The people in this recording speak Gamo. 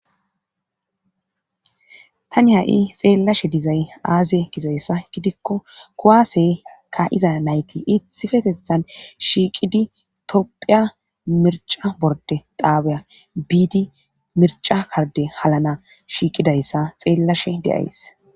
tani ha7i xeellashe dizay aaze gizayssa gidikko kuwaase ka iza nayti ithi fetethan shiiqidi tophiya mirca borde daabiya biidi mirca karde halana shiiqidayssa xeellashe deays